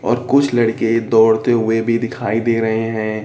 और कुछ लड़के दौड़ते हुए भी दिखाई दे रहे हैं।